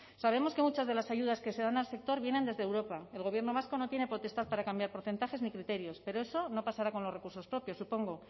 sabemos que muchas de las ayudas que se dan al sector vienen desde europa el gobierno vasco no tiene potestad para cambiar porcentajes ni criterios pero eso no pasará con los recursos propios supongo